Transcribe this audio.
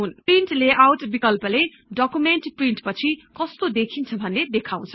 print layout बिकल्पले document प्रिन्ट्पछि कस्तो देखिन्छ भन्ने देखाउँछ